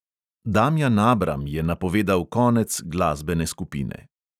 Damjan abram je napovedal konec glasbene skupine.